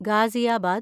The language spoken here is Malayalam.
ഗാസിയാബാദ്